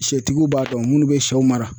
Sɛtigiw b'a dɔn minnu bɛ sɛw mara